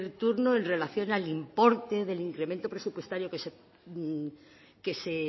turno en relación al importe del incremento presupuestario que se